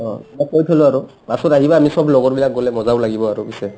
অ মই কৈ থলো আৰু পাছত আহিবা আমি চব লগৰবিলাক গ'লে মজাও লাগিব আৰু পিছে